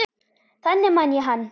Þannig man ég hann.